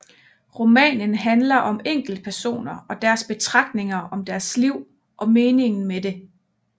Romanen handler om enkeltpersoner og deres betragtninger om deres liv og meningen med det